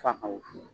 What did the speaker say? Fa ka wusu